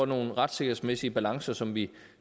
nogle retssikkerhedsmæssige balancer som vi